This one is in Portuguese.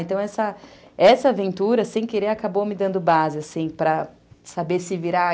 Então, essa essa aventura, sem querer, acabou me dando base, assim, para saber se virar.